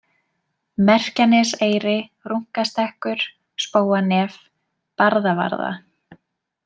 Merkjaneseyri, Runkastekkur, Spóanef, Barðavarða